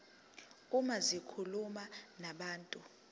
uma zikhuluma nabantu